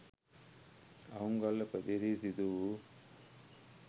අහුන්ගල්ල ප්‍රදේශයේ දී සිදු වූ